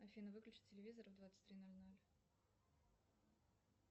афина выключи телевизор в двадцать три ноль ноль